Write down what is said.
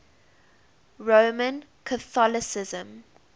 roman catholicism